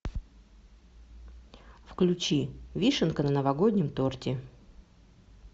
включи вишенка на новогоднем торте